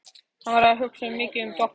Hann var að hugsa svo mikið um Doppu.